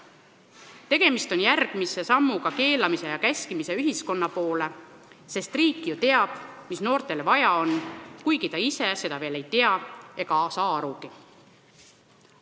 Tegemist on järgmise sammuga keelamise ja käskimise ühiskonna poole, sest riik ju teab, mida noortel vaja on, kuigi ta ise seda veel ei tea ega saa asjast arugi.